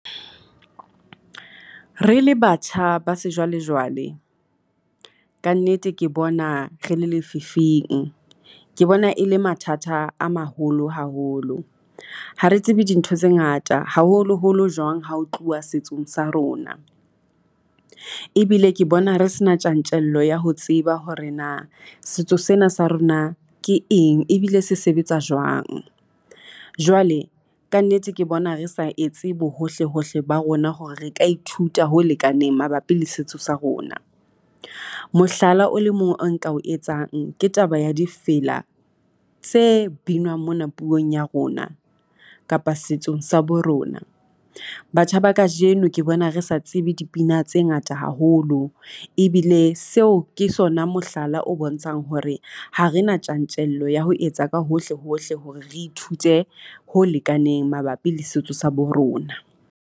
Re le batjha ba sejwalejwale kannete ke bona re le lefifing. Ke bona e le mathata a maholo haholo ha re tsebe dintho tse ngata haholoholo jwang hao tluwa setsong sa rona, ebile ke bona re se na tjantjello ya ho tseba hore na setso sena sa rona ke eng ebile se sebetsa jwang. Jwale ka nnete, ke bona re sa etse bo hohle hohle ba rona hore re ka ithuta ho lekaneng mabapi le setso sa rona. Mohlala o le mong oo nka o etsang, ke taba ya difela tse binwang mona puong ya rona kapa setsong sa bo rona. Batjha ba kajeno ke bona re sa tsebe dipina tse ngata haholo ebile seo ke sona mohlala o bontshang hore ha re na tjantjello ya ho etsa ka hohle hohle hore re ithute ho lekaneng mabapi le setso sa bo rona.